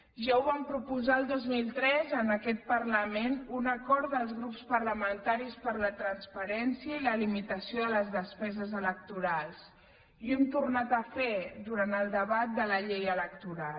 ja ho vam proposar el dos mil tres en aquest parlament un acord dels grups parlamentaris per la transparència i la limitació de les despeses electorals i ho hem tornar a fer durant el debat de la llei electoral